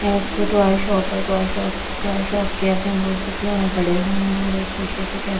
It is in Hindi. एक टॉय शॉप है टॉय शॉप टॉय शॉप के अंदर बहुत से खिलौने पड़े हुए हैं और एक शीशे के कैबिनेट के ।